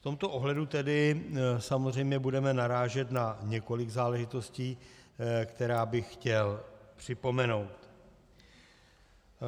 V tomto ohledu tedy samozřejmě budeme narážet na několik záležitostí, které bych chtěl připomenout.